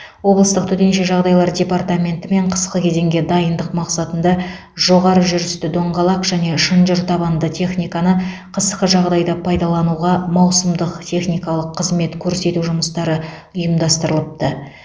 облыстық төтенше жағдайлар департаментімен қысқы кезеңге дайындық мақсатында жоғары жүрісті доңғалақ және шынжыр табанды техниканы қысқы жағдайда пайдалануға маусымдық техникалық қызмет көрсету жұмыстары ұйымдастырылыпты